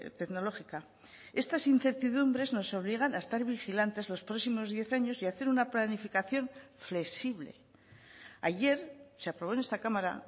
tecnológica estas incertidumbres nos obligan a estar vigilantes los próximos diez años y a hacer una planificación flexible ayer se aprobó en esta cámara